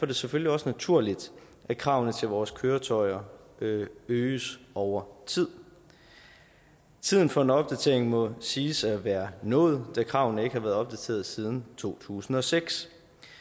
det selvfølgelig også naturligt at kravene til vores køretøjer øges over tid tiden for en opdatering må siges at være nået da kravene ikke har været opdateret siden to tusind og seks